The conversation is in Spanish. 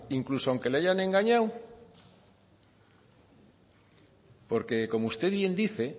oiga incluso aunque le hayan engañado porque como usted bien dice